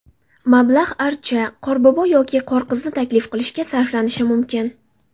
Mablag‘ archa, qorbobo yoki qorqizni taklif qilishga sarflanishi mumkin.